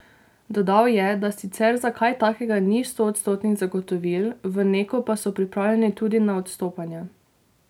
Dodal je, da sicer za kaj takega ni stoodstotnih zagotovil, v Neku pa so pripravljeni tudi na odstopanja.